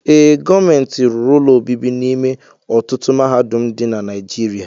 Ee, gọọmenti rụrụ ụlọ obibi n'ime ọtụtụ mahadum dị na Naijiriia.